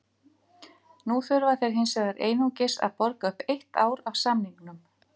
Núna þurfa þeir hins vegar einungis að borga upp eitt ár af samningnum.